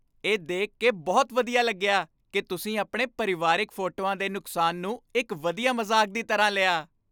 ਇਹ ਦੇਖ ਕੇ ਬਹੁਤ ਵਧੀਆ ਲੱਗਿਆ ਕਿ ਤੁਸੀਂ ਆਪਣੇ ਪਰਿਵਾਰਕ ਫੋਟੋਆਂ ਦੇ ਨੁਕਸਾਨ ਨੂੰ ਇੱਕ ਵਧੀਆ ਮਜ਼ਾਕ ਦੀ ਤਰ੍ਹਾਂ ਲਿਆ।